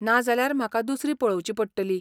ना जाल्यार, म्हाका दुसरी पळोवची पडटली.